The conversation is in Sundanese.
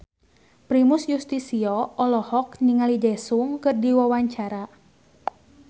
Primus Yustisio olohok ningali Daesung keur diwawancara